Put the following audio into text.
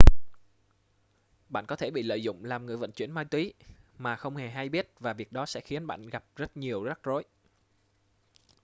bạn có thể bị lợi dụng làm người vận chuyển ma túy mà không hề hay biết và việc đó sẽ khiến bạn gặp rất nhiều rắc rối